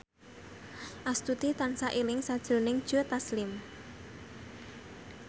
Astuti tansah eling sakjroning Joe Taslim